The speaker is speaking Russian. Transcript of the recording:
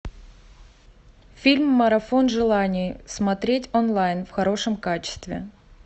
фильм марафон желаний смотреть онлайн в хорошем качестве